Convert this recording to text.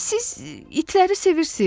Siz itləri sevirsiniz?